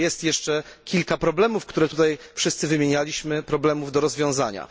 że jest jeszcze kilka problemów, które tutaj wszyscy wymienialiśmy problemów do rozwiązania.